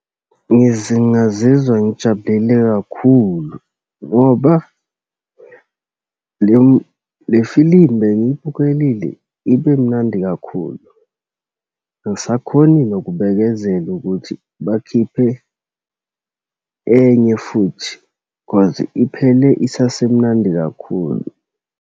Ngazizwa ngijabulele kakhulu ngoba le le filimu bengiyibukelile ibe mnandi kakhulu. Angisakhoni nokubekezela ukuthi bakhiphe enye futhi cause iphele esasemnandi kakhulu.